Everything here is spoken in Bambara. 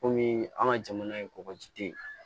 Kɔmi an ka jamana ye kɔkɔjiden ye